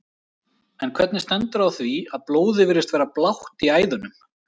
En hvernig stendur þá á því að blóðið virðist vera blátt í æðunum?